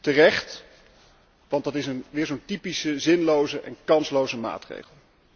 Terecht, want dat is weer zo'n typische zinloze en kansloze maatregel.